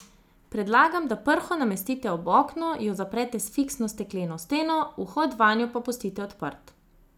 Predlagam, da prho namestite ob okno, jo zaprete s fiksno stekleno steno, vhod vanjo pa pustite odprt.